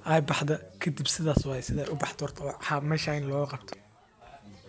aad ufican.